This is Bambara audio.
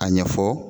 A ɲɛfɔ